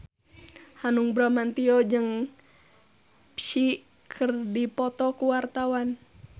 Hanung Bramantyo jeung Psy keur dipoto ku wartawan